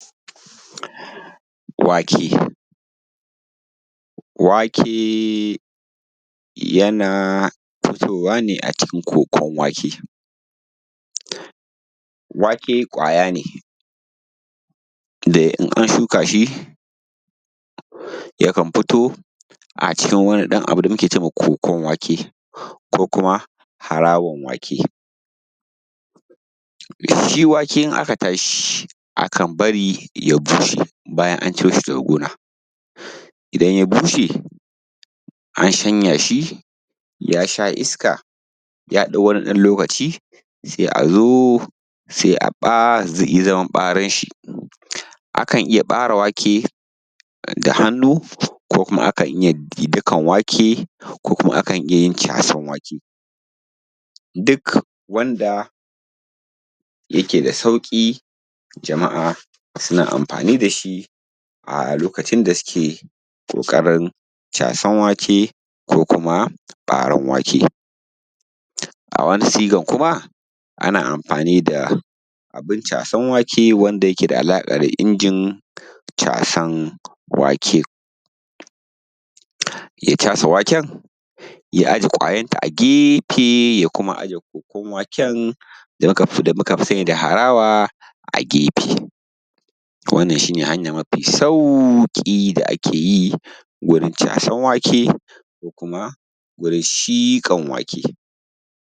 Wake. Wake yana fitowa ne a cikin ƙoƙon wake. Wake ƙwaya ne, da in an shuka shi, yakan fito a cikin ɗan wani abu da muke ce mai ƙwoƙwon wake, ko kuma harawan wake. Shi wake, in aka tafi, akan bari ya bushe. Bayan an ciro shi daga gona, idan ya busshe, an shanya shi, ya sha iska, ya ɗau ɗan wani loƙaci, sai a zo, sai ai zaman ɓaren shi. Akan iya ɓare wake da hannu, ko kuma akan iya gi dakan wake, ko kuma akan iya yin casan wake. Duk wanda yake da sauƙi, jama'a sana amfani da shi a loƙacin da suke ƙoƙarin casan wake ko kuma ɓaran wake. A wani siga kuma, ana amfani da abun casan wake, wanda yake da alaƙa da injin casan wake. Ya casa waken, ya aje ƙwayan ta a gefe, ya kuma aje ƙwoƙwon waken, wanda muka fi sani da harawa, a gefe. Wannan shi ne hanya mafi sauƙi da ake yi gurin casan wake, ko kuma gurin siƙan wake.